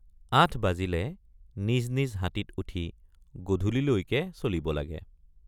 ৮ বাজিলে নিজ নিজ হাতীত উঠি গধূলিলৈকে চলিব লাগে।